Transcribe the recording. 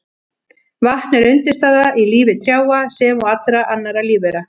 Vatn er undirstaða í lífi trjáa sem og allra annarra lífvera.